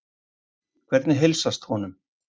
Hvernig heilsast honum?